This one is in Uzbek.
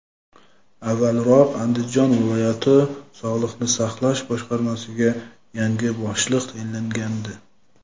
avvalroq Andijon viloyat sog‘liqni saqlash boshqarmasiga yangi boshliq tayinlangandi.